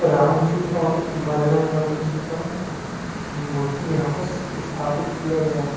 रामजी और बजरंगबली जी का मूर्ति यहाँ पर इस स्थापित किया गया है।